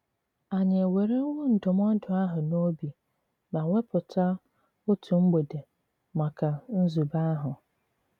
Ànyị̀ èwèrèwò ndụm̀ọ̀dụ àhụ̀ n'òbì ma wèpùtà otu mg̀bèdè maka nzùbè àhụ̀?